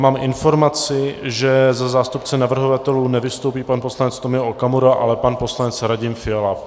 Mám informaci, že za zástupce navrhovatelů nevystoupí pan poslanec Tomio Okamura, ale pan poslanec Radim Fiala.